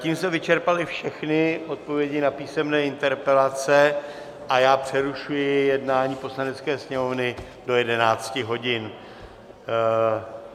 Tím jsme vyčerpali všechny odpovědi na písemné interpelace a já přerušuji jednání Poslanecké sněmovny do 11 hodin.